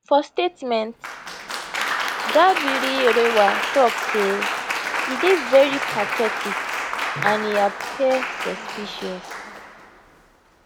for statement dabirierewa tok say e dey veri pathetic and e appear suspicious